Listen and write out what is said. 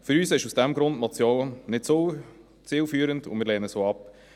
Für uns ist aus diesem Grund die Motion nicht zielführend, und wir lehnen sie ab.